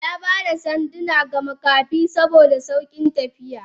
Yaba da sanduna ga Makafi saboda saukin tafiya.